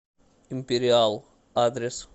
империал адрес